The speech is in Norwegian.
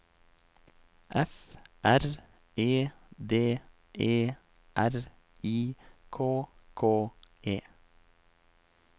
F R E D E R I K K E